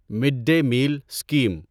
mid day meal scheme